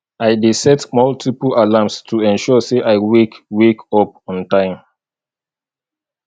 i dey set multiple alarms to ensure say i wake wake up on time